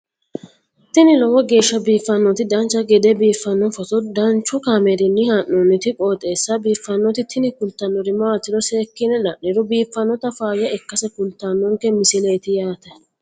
tini lowo geeshsha biiffannoti dancha gede biiffanno footo danchu kaameerinni haa'noonniti qooxeessa biiffannoti tini kultannori maatiro seekkine la'niro biiffannota faayya ikkase kultannoke misileeti yaate